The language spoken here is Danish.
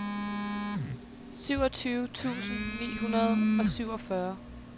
syvogtyve tusind ni hundrede og syvogfyrre